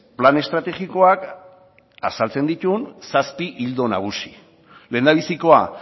plan estrategikoak azaltzen dituen zazpi ildo nagusi lehendabizikoa